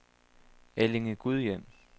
Allinge-Gudhjem